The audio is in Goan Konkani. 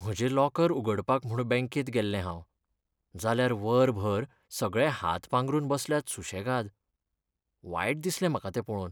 म्हजें लॉकर उगडपाक म्हूण बॅंकेत गेल्लें हांव, जाल्यार वरभर सगळे हात पांगरून बसल्यात सु्शेगाद. वायट दिसलें म्हाका तें पळोवन.